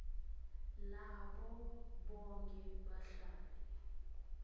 labo bonkhe bahlali